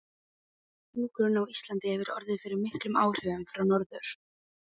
Hjúkrun á Íslandi hefur orðið fyrir miklum áhrifum frá Norður